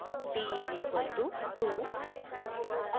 d is equal to 2